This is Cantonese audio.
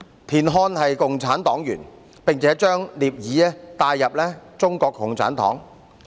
田漢是共產黨員，並且將聶耳帶入中國共產黨。